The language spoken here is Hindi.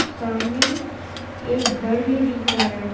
सामने एक घर भी दिख रहा है।